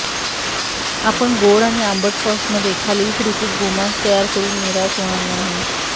आपण गोड आणि आंबट सॉस मध्ये खालील कृती गोमांस तयार करून निराश होणार नाही